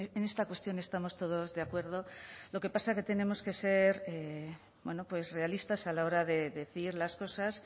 en esta cuestión estamos todos de acuerdo lo que pasa que tenemos que ser bueno pues realistas a la hora de decir las cosas